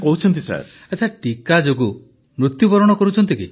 ପ୍ରଧାନମନ୍ତ୍ରୀ ଆଚ୍ଛା ଟିକା ଯୋଗୁ ମୃତ୍ୟୁବରଣ କରୁଛନ୍ତି କି